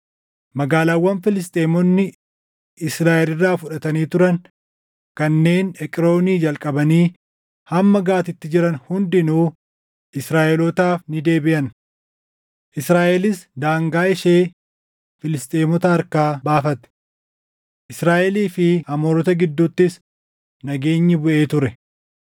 Magaalaawwan Filisxeemonni Israaʼel irraa fudhatanii turan kanneen Eqroonii jalqabanii hamma Gaatitti jiran hundinuu Israaʼelootaaf ni deebiʼan. Israaʼelis daangaa ishee Filisxeemota harkaa baafate. Israaʼelii fi Amoorota gidduuttis nageenyi buʼee ture.